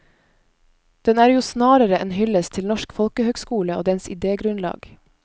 Den er jo snarere en hyllest til norsk folkehøgskole og dens idégrunnlag.